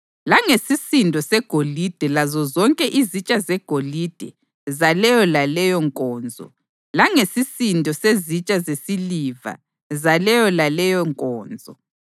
langesisindo segolide lazozonke izitsha zegolide zaleyo laleyo nkonzo, langesisindo sezitsha zesiliva zaleyo laleyo nkonzo: